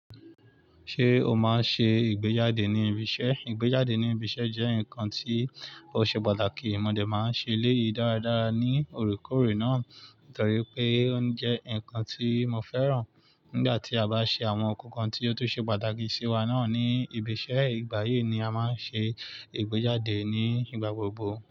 Ṣé o máa n ṣe ìgbéjáde ní ibi iṣẹ́? Ìgbéjáde ní ibi iṣẹ́ jẹ́ nǹkan tí ó ṣe pàtàkì. Ọ̀n mo dé máa ṣe eléyìí dáradára ní òrékòórè náà nítorí pé ó jẹ́ nǹkan tí mo féràn. Nígbà tí a bá ṣe àwọn nnkankan tí ó tún ṣe pàtàkì sí wa náà ní ibi iṣẹ́, ìgbà yìí ni a máa ṣe ìgbéjáde ní ìgbà gbogbo.